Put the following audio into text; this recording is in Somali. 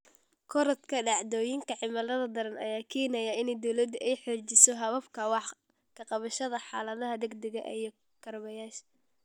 Korodhka dhacdooyinka cimilada daran ayaa keenaya in dawladdu ay xoojiso hababka wax ka qabashada xaaladaha degdegga ah iyo kaabayaasha.